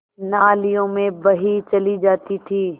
नालियों में बही चली जाती थी